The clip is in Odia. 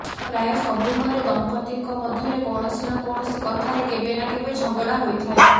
ପ୍ରାୟ ସବୁ ଘରେ ଦମ୍ପତିଙ୍କ ମଧ୍ୟରେ କୌଣସି ନା କୌଣସି କଥାରେ କେବେ ନା କେବେ ଝଗଡ଼ା ହୋଇଥାଏ